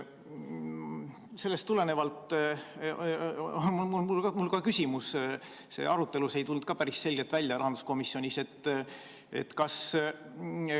Sellest tulenevalt on mul ka küsimus, see asi ei tulnud rahanduskomisjoni arutelus päris selgelt välja.